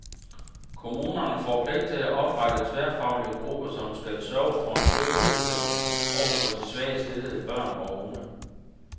Kommunerne får pligt til at oprette tværfaglige grupper, som skal sørge for en styrket indsats over for de svagest stillede børn og unge.